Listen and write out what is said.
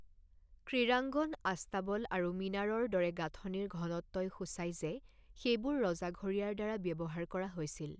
ক্ৰীড়াংগন, আস্তাবল আৰু মিনাৰৰ দৰে গাঁথনিৰ ঘনত্বই সূচায় যে সেইবোৰ ৰজাঘৰীয়াৰ দ্বাৰা ব্যৱহাৰ কৰা হৈছিল।